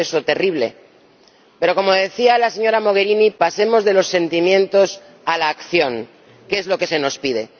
¿No es eso terrible? Pero, como decía la señora Mogherini, pasemos de los sentimientos a la acción, que es lo que se nos pide.